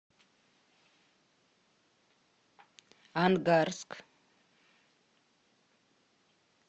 ангарск